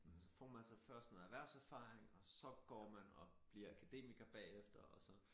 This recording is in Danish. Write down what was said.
Så får man sig først noget erhverserfaring og så går man og bliver akademiker bagefter og så